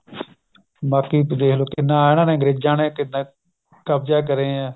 ਬਾਕੀ ਦੇਖ ਲੋ ਕਿੰਨਾ ਇਹਨਾ ਨੇ ਅੰਗਰੇਜਾਂ ਨੇ ਕਿੱਦਾਂ ਕਬਜਾ ਕਰਿਆ